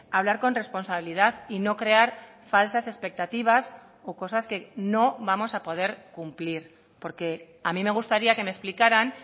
hablar con responsabilidad y no crear falsas expectativas o cosas que no vamos a poder cumplir porque a mí me gustaría que me explicaran